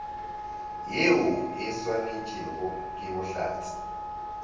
yeo e saenetšwego ke bohlatse